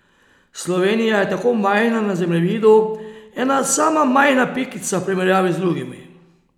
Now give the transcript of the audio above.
Slovenija je tako majhna na zemljevidu, ena sama majhna pikica v primerjavi z drugimi.